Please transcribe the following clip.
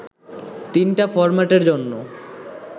তিনটা ফরম্যাটর মধ্যে